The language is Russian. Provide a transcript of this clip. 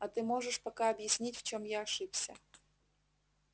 а ты можешь пока объяснить в чем я ошибся